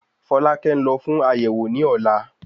Folake ń lọ fún àyẹ̀wò ni ọ̀la